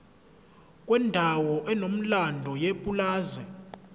kwendawo enomlando yepulazi